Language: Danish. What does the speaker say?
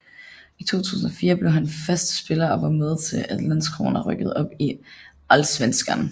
I 2004 blev han fast spiller og var med til at Landskrona rykkede op i Allsvenskan